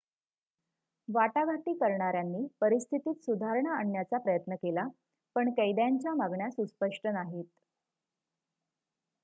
वाटाघाटी करणाऱ्यांनी परिस्थितीत सुधारणा आणण्याचा प्रयत्न केला पण कैद्यांच्या मागण्या सुस्पष्ट नाहीत